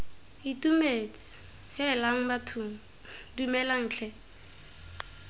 itumetse heelang bathong dumelang tlhe